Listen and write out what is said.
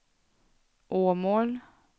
Åmål